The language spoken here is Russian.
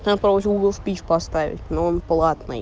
углов поставить новый